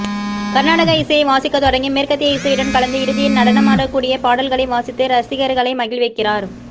கர்நாடக இசையை வாசிக்கத் தொடங்கி மேற்கத்திய இசையுடன் கலந்து இறுதியில் நடனமாடக் கூடிய பாடல்களை வாசித்து ரசிகர்களை மகிழ்விக்கிறார்